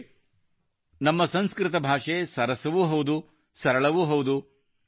ಅಂದರೆ ನಮ್ಮ ಸಂಸ್ಕೃತ ಭಾಷೆ ಸರಸವೂ ಹೌದು ಸರಳವೂ ಹೌದು